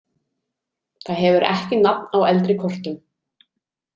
Það hefur ekki nafn á eldri kortum.